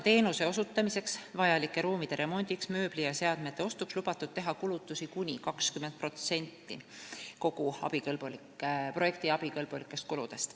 Teenuse osutamiseks vajalike ruumide remondiks, mööbli ja seadmete ostuks on lubatud teha kulutusi kuni 20% kogu projekti abikõlblikest kuludest.